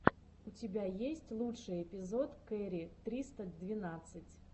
у тебя есть лучший эпизод кэрри триста двенадцать